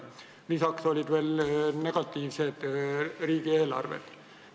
Lisaks olid veel negatiivsed riigieelarved.